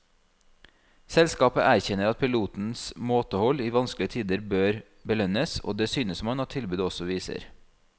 Selskapet erkjenner at pilotenes måtehold i vanskelige tider bør belønnes, og det synes man at tilbudet også viser.